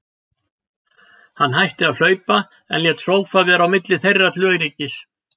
Hann hætti að hlaupa, en lét sófa vera á milli þeirra til öryggis.